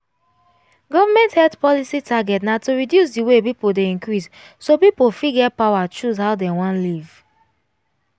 government health policy target na to reduce the way people dey increase so people fit get power choose how dem wan live